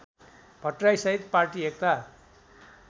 भट्टराईसहित party Ekta